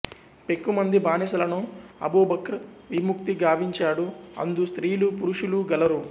పెక్కుమంది బానిసలను అబూబక్ర్ విముక్తి గావించాడు అందు స్త్రీలూ పురుషులూ గలరు